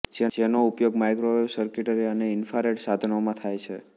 જેનો ઉપયોગ microwave circuitry અને ઈંફ્રા રેડ સાધનોમાં થાય છે